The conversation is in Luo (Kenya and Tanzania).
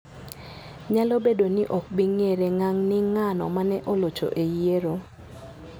. Nyalo bedo ni ok bi ng'ere ngang' ni ng'ano ma ne olocho e yiero.